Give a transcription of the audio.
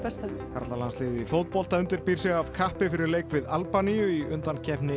karlalandsliðið í fótbolta undirbýr sig af kappi fyrir leik við Albaníu í undankeppni